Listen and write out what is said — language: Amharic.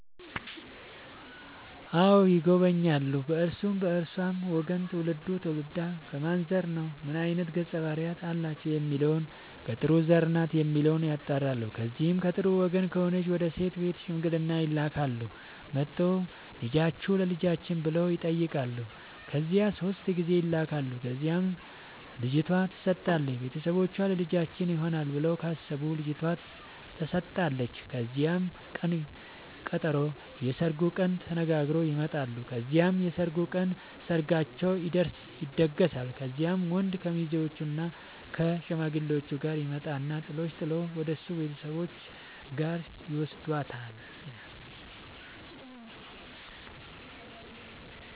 አዎ ይጎበኛሉ በእርሱም በእርሷም ወገን ትውልዱ ትውልዷ ከማን ዘር ነው ምን አይነት ገፀ ባህርያት አላቸው የሚለውን ከጥሩ ዘር ናት የሚለውን ያጣራሉ። ከዚያ ከጥሩ ወገን ከሆነች ወደ ሴት ቤት ሽምግልና ይላካል። መጥተው ልጃችሁን ለልጃችን ብለው ይጠያቃሉ ከዚያ ሶስት ጊዜ ይላካል ከዚያም ልጅቷ ትሰጣለች ቤተሰቦቿ ለልጃችን ይሆናል ብለው ካሰቡ ልጇቷ ተሰጣለች ከዚያም ቅን ቀጠሮ የስርጉን ቀን ተነጋግረው ይመጣሉ ከዚያም የሰርጉ ቀን ሰርጋቸው ይደገሳል። ከዚያም ወንድ ከሙዜዎችእና ከሽማግሌዎቹ ጋር ይመጣና ጥሎሽ ጥል ወደሱ ቤተሰቦች ጋር ይውስዳታል።